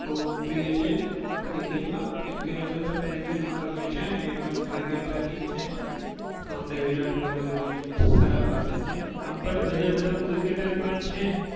બહુ પ્રિય છે cricket માં. કેમકે અમે પણ cricket બહુ રમીએ છીએ અને એ પણ cricket ના king છે. તો અમને વિરાટ કોહલી બહુ જ સારા person છે આમ પણ બીજા બધા cricketer પણ છે.